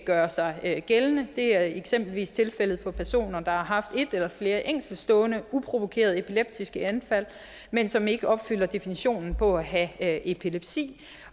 gøre sig gældende det er eksempelvis tilfældet for personer der har haft et eller flere enkeltstående uprovokerede epileptiske anfald men som ikke opfylder definitionen på at have epilepsi